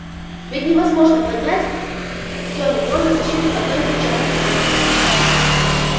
ведь невозможно поднять всё метро на защиту одной никчёмной станции